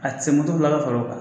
A tɛ se moto fila bɛɛ kɔrɔ